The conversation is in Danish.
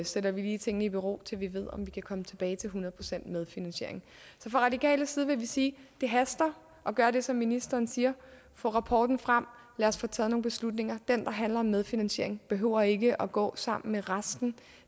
sætter vi lige tingene i bero til vi ved om vi kan komme tilbage til hundrede procent medfinansiering så fra radikal side vil vi sige det haster at gøre det som ministeren siger få rapporten frem og lad os få taget nogle beslutninger den der handler om medfinansiering behøver ikke at gå sammen med resten